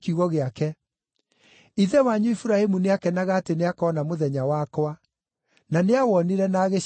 Ithe wanyu Iburahĩmu nĩakenaga atĩ nĩakona mũthenya wakwa; na nĩawonire na agĩcanjamũka.”